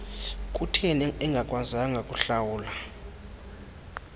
kutheni engakwazanga kuhlawula